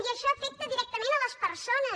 i això afecta directament les persones